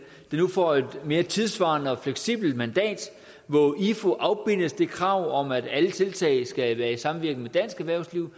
der nu får et mere tidssvarende og fleksibelt mandat hvor ifu afbindes det krav om at alle tiltag skal være i samvirke med dansk erhvervsliv